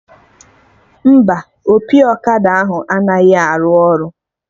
Mba, opi ọkada ahụ anaghị arụ ọrụ